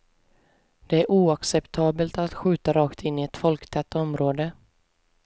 Det är oacceptabelt att skjuta rakt in i ett folktätt område.